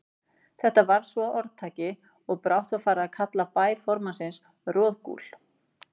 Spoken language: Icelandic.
Þetta varð svo að orðtaki, og brátt var farið að kalla bæ formanns Roðgúl.